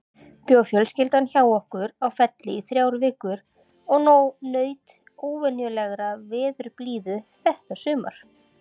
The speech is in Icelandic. Bjó fjölskyldan hjá okkur á Felli í þrjár vikur og naut óvenjulegrar veðurblíðu þetta sumar.